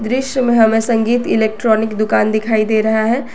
दृश्य में हमें संगीत इलेक्ट्रॉनिक दुकान दिखाई दे रहा है।